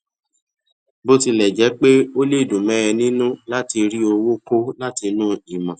bó tilè jé pé ó lè dùn mó ẹ nínú láti rí owó kó látinú ìmò